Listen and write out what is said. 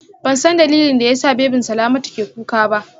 Bansan dalilin da yasa babyn Salamatu ke kuka ba